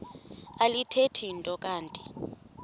alithethi nto kanti